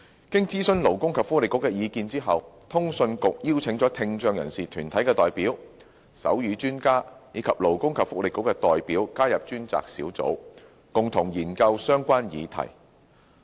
經徵詢勞工及福利局的意見後，通訊局邀請了聽障人士團體代表、手語專家，以及勞工及福利局的代表加入專責小組，共同研究相關議題。